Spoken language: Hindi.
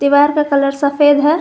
दीवार का कलर सफेद है।